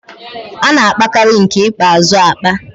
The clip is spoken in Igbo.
A na-apakarị nke ikpeazụ apa.